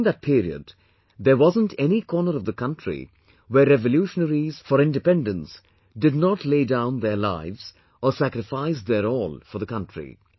During that period, there wasn't any corner of the country where revolutionaries for independence did not lay down their lives or sacrificed their all for the country